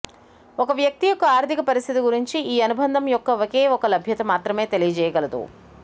ఒక వ్యక్తి యొక్క ఆర్థిక పరిస్థితి గురించి ఈ అనుబంధం యొక్క ఒకే ఒక లభ్యత మాత్రమే తెలియజేయగలదు